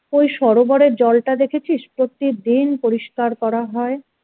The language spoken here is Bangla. ওই সরোবরের জলটা দেখেছিস প্রতিদিন পরিষ্কার করা হয়